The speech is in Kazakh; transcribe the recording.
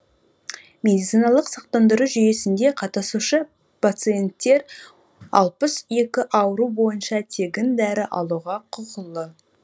медициналық сақтандыру жүйесінде қатысушы пациенттер алпыс екі ауру бойынша тегін дәрі алуға құқылы